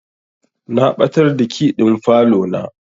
Na ɓatar da key ɗin falo na.